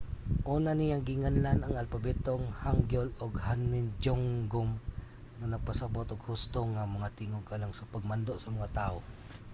una niyang ginganlan ang alpabetong hangeul og hunmin jeongeum nga nagpasabut og husto nga mga tingog alang sa pagmando sa mga tawo